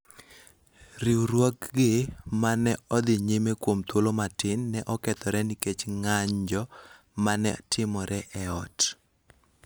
riwruokgi ma ne odhi nyime kuom thuolo matin ne okethore nikech ng�anjo ma ne timore e ot.